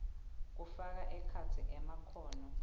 kufaka ekhatsi emakhono